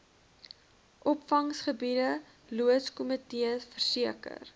opvanggebied loodskomitees verseker